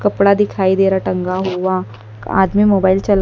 कपड़ा दिखाई दे रहा टंगा हुआ आदमी मोबाइल चला--